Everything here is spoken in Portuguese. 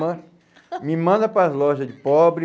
me manda para as lojas de pobre...